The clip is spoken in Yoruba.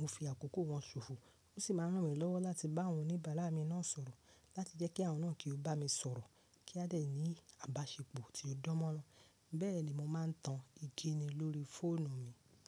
mo fi akọkọ wọn sofọ, o si ma ran mi lowo lati ba àwọn oníbàárà mi naa sọ̀rọ̀ lati jẹ ki àwọn naa ki o ba mi sọ̀rọ̀, ki a de ni abasepo ti o dan mọ. Bẹẹni mo maa n tan ikini lori foonu mi.